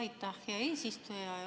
Aitäh, hea eesistuja!